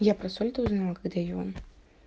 я прошёл ты узнала когда иван